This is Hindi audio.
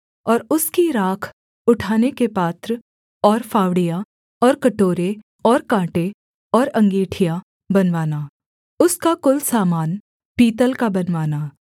और उसकी राख उठाने के पात्र और फावड़ियां और कटोरे और काँटे और अँगीठियाँ बनवाना उसका कुल सामान पीतल का बनवाना